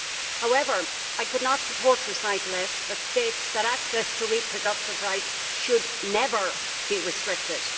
However, I could not support Recital S stating that access to reproductive rights should never be restricted.